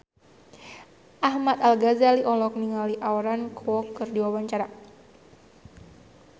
Ahmad Al-Ghazali olohok ningali Aaron Kwok keur diwawancara